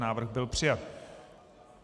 Návrh byl přijat.